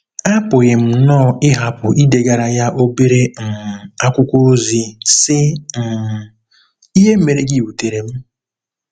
Apụghị m nnọọ ịhapụ idegara ya obere um akwụkwọ ozi, sị um: “ Ihe mere gị wutere m.